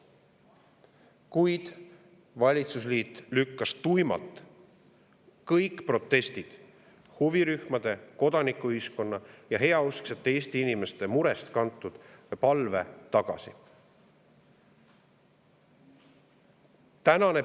Kuid valitsusliit lükkas kõik protestid ning huvirühmade, kodanikuühiskonna ja heausksete Eesti inimeste murest kantud palve tuimalt tagasi.